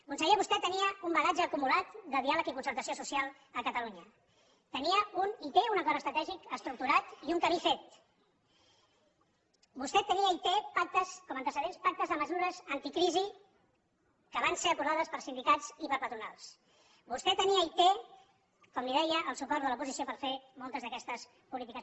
conseller vostè tenia un bagatge acumulat de diàleg i concertació social a catalunya tenia i té un acord estratègic estructurat i un camí fet vostè tenia i té com a antecedents pactes de mesures anticrisi que van ser aprovades per sindicats i per patronals vostè tenia i té com li deia el suport de l’oposició per fer moltes d’aquestes polítiques